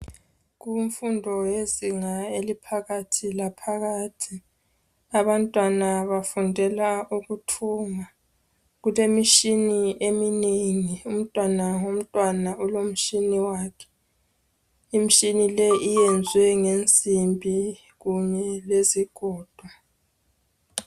Kumfundo yezinga eliphakathi laphakathi abantwana bafundela ukuthunga kulemishini eminengi umntwana ngomntwana ulomshini wakhe imishini leyi iyenzwe ngensimbi kanye lezigodo.